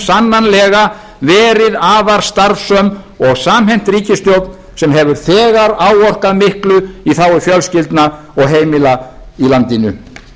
sannanlega verið afar starfsöm og samhent ríkisstjórn sem hefur þegar áorkað miklu í þágu fjölskyldna og heimila í landinu